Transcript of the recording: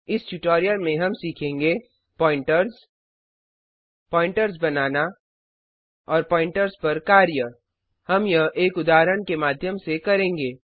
इस ट्यूटोरियल में हम सीखेंगे प्वॉइंटर्स प्वॉइंटर्स बनाना और प्वॉइंटर्स पर कार्य हम यह एक उदाहरण के माध्यम से करेंगे